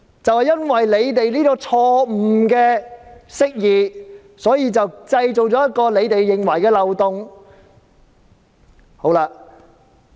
正因為政府這錯誤釋義，便製造出所謂的法例漏洞。